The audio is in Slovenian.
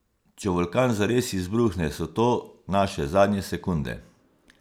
Če vulkan zares izbruhne, so to naše zadnje sekunde.